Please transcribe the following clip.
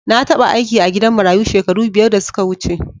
Na taba aiki a gidan marayu shekaru biyar da suka wuce.